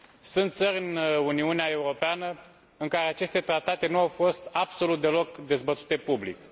Sunt țări în Uniunea Europeană în care aceste tratate nu au fost absolut deloc dezbătute public.